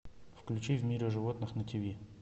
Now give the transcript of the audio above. включи в мире животных на тиви